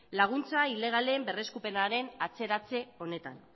laguntza ilegalen berreskurapenaren atzeratze honetan